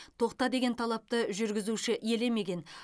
тоқта деген талапты жүргізуші елемеген